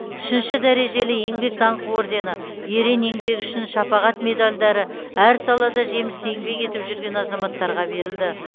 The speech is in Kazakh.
үшінші дәрежелі еңбек даңқы ордені ерен еңбегі үшін шапағат медальдары әр салада жемісті еңбек етіп жүрген азаматтарға берілді